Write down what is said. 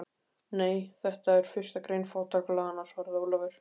Nei, þetta er fyrsta grein fátækralaganna, svaraði Ólafur.